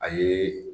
A ye